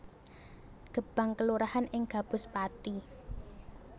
Gebang kelurahan ing Gabus Pathi